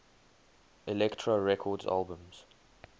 elektra records albums